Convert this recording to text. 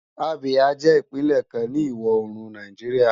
Abia jè Ipinlè kán ni iwò órún Náijiriá